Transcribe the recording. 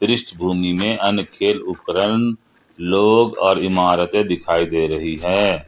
इस भूमि में उपकरण लोग और इमारतें दिखाई दे रही है।